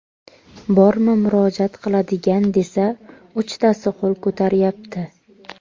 Bormi murojaat qiladigan desa, uchtasi qo‘l ko‘taryapti.